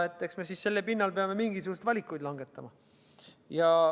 Eks me siis selle pinnal peame mingisuguseid valikuid langetama.